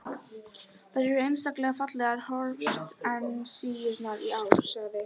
Þær eru einstaklega fallegar hortensíurnar í ár, sagði